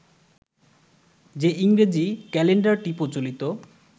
যে ইংরেজি ক্যালেন্ডারটি প্রচলিত